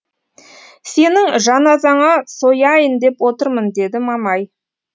сенің жаназаңа сояйын деп отырмын деді мамай